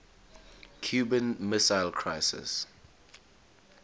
cuban missile crisis